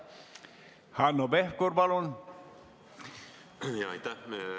Hanno Pevkur, palun!